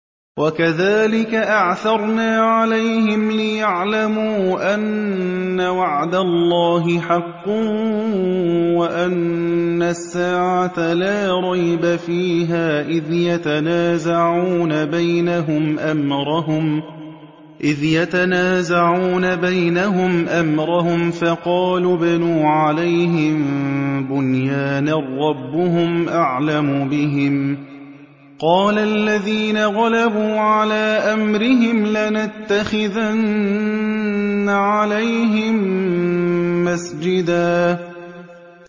وَكَذَٰلِكَ أَعْثَرْنَا عَلَيْهِمْ لِيَعْلَمُوا أَنَّ وَعْدَ اللَّهِ حَقٌّ وَأَنَّ السَّاعَةَ لَا رَيْبَ فِيهَا إِذْ يَتَنَازَعُونَ بَيْنَهُمْ أَمْرَهُمْ ۖ فَقَالُوا ابْنُوا عَلَيْهِم بُنْيَانًا ۖ رَّبُّهُمْ أَعْلَمُ بِهِمْ ۚ قَالَ الَّذِينَ غَلَبُوا عَلَىٰ أَمْرِهِمْ لَنَتَّخِذَنَّ عَلَيْهِم مَّسْجِدًا